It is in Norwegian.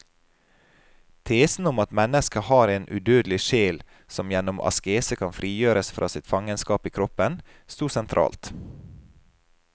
Tesen om at mennesket har en udødelig sjel som gjennom askese kan frigjøres fra sitt fangenskap i kroppen, stod sentralt.